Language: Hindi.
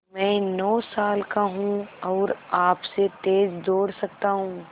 मैं नौ साल का हूँ और आपसे तेज़ दौड़ सकता हूँ